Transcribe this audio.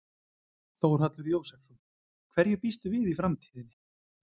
Þórhallur Jósefsson: Hverju býstu við í framtíðinni?